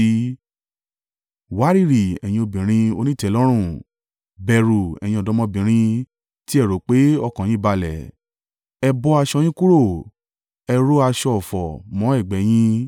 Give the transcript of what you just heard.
Wárìrì, ẹ̀yin obìnrin onítẹ̀lọ́rùn; bẹ̀rù, ẹ̀yin ọ̀dọ́mọbìnrin tí ẹ rò pé ọkàn yín balẹ̀! Ẹ bọ́ aṣọ yín kúrò, ẹ ró aṣọ ọ̀fọ̀ mọ́ ẹ̀gbẹ́ yín.